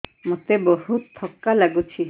ମୋତେ ବହୁତ୍ ଥକା ଲାଗୁଛି